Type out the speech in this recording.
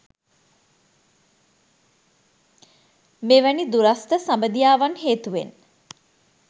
මෙවැනි දුරස්ථ සබැඳියාවන් හේතුවෙන්